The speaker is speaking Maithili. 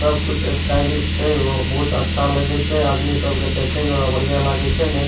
सबकुछ स्टाइलिश छे वो बहुत अच्छा लगे छे आदमी सब के देखे में बड़ा बढ़िया लागे छे ने।